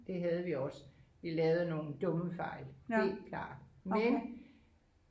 det havde vi også vi lavede nogle dumme fejl helt klart men